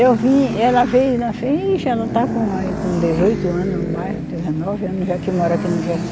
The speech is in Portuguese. Eu vim, ela veio na frente, ela está com aí com dezoito anos ou mais, dezenove anos, já que mora aqui no Jaci